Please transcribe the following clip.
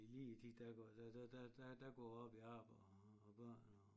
Lige i tiden der går der der der der går jeg op i arbejde og børn og